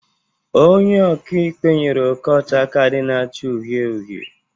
Onye ọka ikpe nyere Okocha kaadị na-acha uhie uhie.